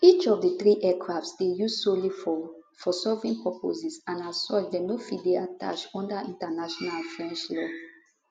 each of di three aircrafts dey used solely for for sovereign purposes and as such dem no fit dey attached under international and french law